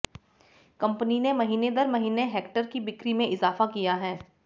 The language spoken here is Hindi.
कंपनी ने महीने दर महीने हेक्टर की बिक्री में इजाफा किया है